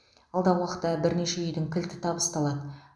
алдағы уақытта бірнеше үйдің кілті табысталады